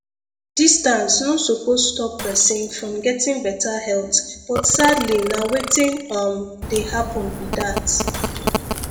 distance no suppose stop person from getting better health but sadly na wetin um dey happen be that